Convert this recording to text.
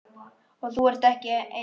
Og þú ert ekki einn.